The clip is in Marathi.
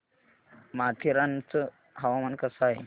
माथेरान चं हवामान कसं आहे